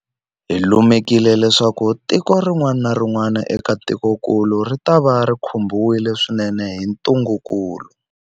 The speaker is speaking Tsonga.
Hi lemukile leswaku tiko rin'wana na rin'wana eka tikokulu ritava ri khumbiwile swinene hi ntungukulu.